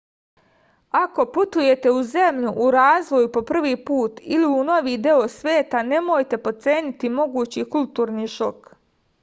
ako putujete u zemlju u razvoju po prvi put ili u novi deo sveta nemojte potceniti mogući kulturni šok